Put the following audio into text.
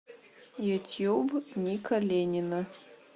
ютьюб ника ленина